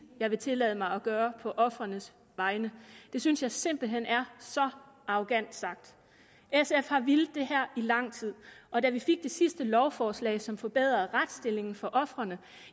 jeg vil tillade mig at gøre på ofrenes vegne det synes jeg simpelt hen er så arrogant sagt sf har villet i lang tid og da vi fik det sidste lovforslag som forbedrede retsstillingen for ofrene